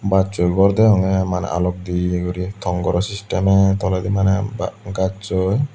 bassoi gor degongey maney alok deye guri tongoro systemey toledi maney ba gacchoi.